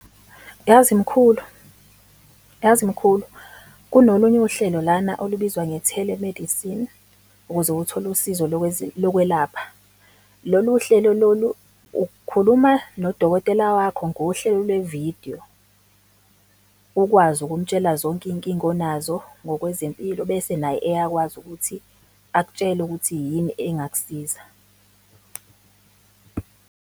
Yazi mkhulu, yazi mkhulu, kunolunye uhlelo lana olubizwa nge-telemedicine, ukuze uthole usizo lokwelapha. Lolu hlelo lolu ukhuluma nodokotela wakho ngohlelo lwe-video, ukwazi ukumtshela zonke iy'nkinga onazo ngokwezempilo, bese naye eyakwazi ukuthi akutshele ukuthi yini engakusiza.